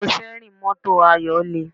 Ọrùn síárìn mọ́tò Ayọ̀ le